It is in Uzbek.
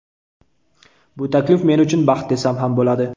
Bu taklif men uchun baxt desam ham bo‘ladi.